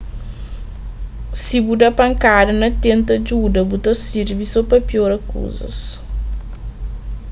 si bu da pankada na tenta djuda bu ta sirbi so pa piora kuzas